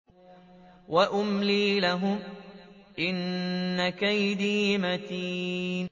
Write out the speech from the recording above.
وَأُمْلِي لَهُمْ ۚ إِنَّ كَيْدِي مَتِينٌ